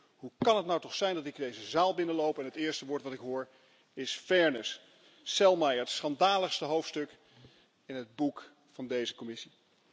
Dan denk ik, hoe kan dat nou toch zijn dat ik deze zaal binnenloop en het eerste woord dat ik hoor is Selmayr, het schandaligste hoofdstuk in het boek van deze Commissie.